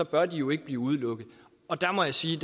bør den jo ikke blive udelukket der må jeg sige